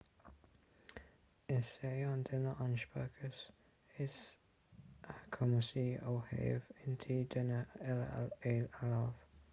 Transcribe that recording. is é an duine an speiceas is cumasaí ó thaobh intinn duine eile a léamh